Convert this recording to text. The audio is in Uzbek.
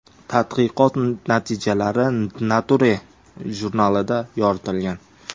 Tadqiqot natijalari Nature jurnalida yoritilgan .